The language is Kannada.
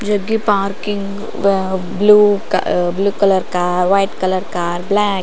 ಜಗ್ಗಿ ಪಾರ್ಕಿಂಗ್ ವೇ ಬ್ಲೂ ಕ blue colour car white colour car black --